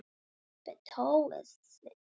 En hvernig stendur á því?